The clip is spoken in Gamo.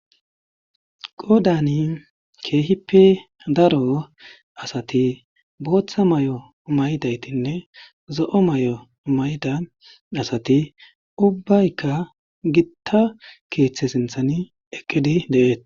Qoodani keehippe daro asati booththa mayo mayidaytinne zo'o mayo mayday asati ubaykka gitta keeththa sinththani eqqidi de'eetes.